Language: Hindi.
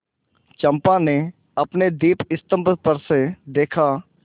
चंपा ने अपने दीपस्तंभ पर से देखा